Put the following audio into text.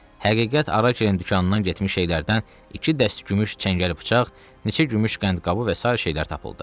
Həqiqət ara-gerin dükanından getmiş şeylərdən iki dəst gümüş çəngəl-bıçaq, neçə gümüş qəndqabı və sair şeylər tapıldı.